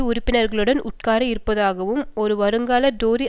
உறுப்பினர்களுடன் உட்கார இருப்பதாகவும் ஒரு வருங்கால டோரி